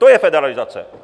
To je federalizace.